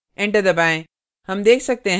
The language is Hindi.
enter दबाएँ